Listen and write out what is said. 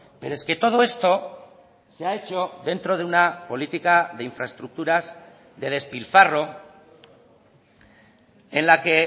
pero es que todo esto se ha hecho dentro de una política de infraestructuras de despilfarro en la que